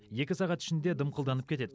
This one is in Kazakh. екі сағат ішінде дымқылданып кетеді